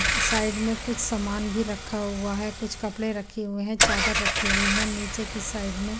side में कुछ सामान भी रखा हुआ है कुछ कपडे रखे हुए है चादर राखी हुई है निचे की साइड में --